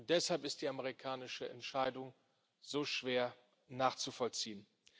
Deshalb ist die amerikanische Entscheidung so schwer nachzuvollziehen.